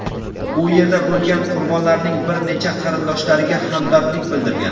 u yerda bo‘lgan qurbonlarning bir necha qarindoshlariga hamdardlik bildirgan.